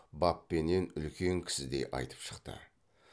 баппенен үлкен кісідей айтып шықты